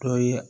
Dɔ ye